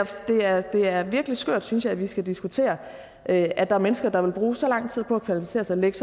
det er virkelig skørt synes jeg at vi skal diskutere at at der er mennesker der vil bruge så lang tid på at kvalificere sig lægge